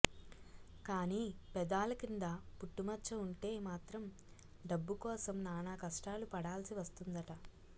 కానీ పెదాల కింద పుట్టుమచ్చ ఉంటే మాత్రం డబ్బు కోసం నానా కష్టాలు పడాల్సి వస్తుందట